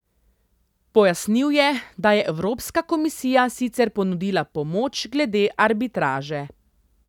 Pojasnil je, da je evropska komisija sicer ponudila pomoč glede arbitraže.